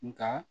Nka